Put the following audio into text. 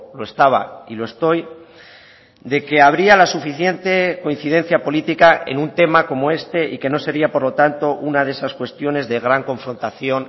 lo estaba y lo estoy de que habría la suficiente coincidencia política en un tema como este y que no sería por lo tanto una de esas cuestiones de gran confrontación